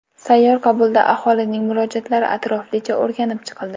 Sayyor qabulda aholining murojaatlari atroflicha o‘rganib chiqildi.